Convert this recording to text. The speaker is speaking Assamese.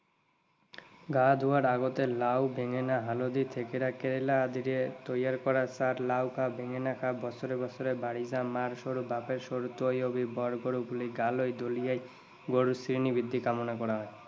গা ধুওৱাৰ আগতে লাও, বেঙেনা, হালধি, থেকেৰা, কেৰেলা আদিৰে তৈয়াৰ কৰা চাঁক লাও খা, বেঙেনা খা বছৰে বছৰে বাঢ়ি যা, মাৰ সৰু বাপেৰ সৰু তই হবি বৰ বৰ বুলি গালৈ দলিয়াই গৰুৰ শ্ৰীবৃদ্ধি কামনা কৰা হয়।